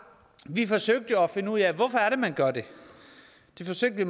vi forsøgte jo at finde ud af hvorfor det er man gør det det forsøgte